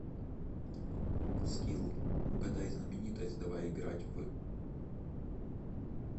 скилл угадай знаменитость давай играть в